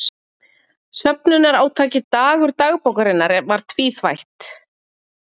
Söfnunarátakið Dagur dagbókarinnar var tvíþætt.